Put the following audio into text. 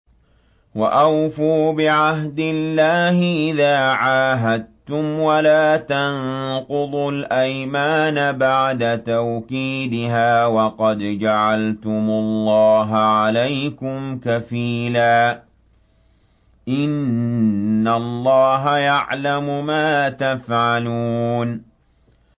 وَأَوْفُوا بِعَهْدِ اللَّهِ إِذَا عَاهَدتُّمْ وَلَا تَنقُضُوا الْأَيْمَانَ بَعْدَ تَوْكِيدِهَا وَقَدْ جَعَلْتُمُ اللَّهَ عَلَيْكُمْ كَفِيلًا ۚ إِنَّ اللَّهَ يَعْلَمُ مَا تَفْعَلُونَ